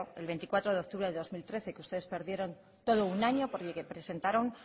el veinticuatro de octubre de dos mil trece que ustedes perdieron todo un año porque presentaron